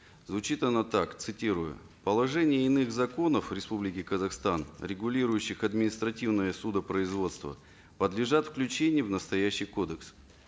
звучит она так цитирую положения иных законов республики казахстан регулирующих административное судопроизводство подлежат включению в настоящий кодекс